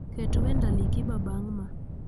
Ket wend ali kiba bang' ma